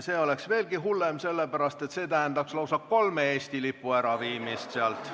See oleks veelgi hullem, sellepärast et see tähendaks lausa kolme Eesti lipu äraviimist sealt.